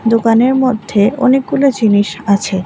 দোকানের মধ্যে অনেকগুলো জিনিস আছে।